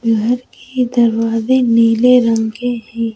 बाहर के दरवाजे नीले रंग के हैं।